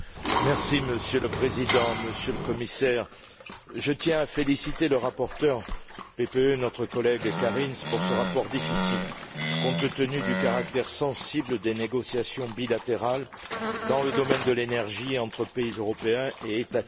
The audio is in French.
Monsieur le Président, Monsieur le Commissaire, je tiens à féliciter le rapporteur PPE, notre collègue Kariņš, pour ce rapport difficile, compte tenu du caractère sensible des négociations bilatérales dans le domaine de l'énergie entre pays européens et États tiers.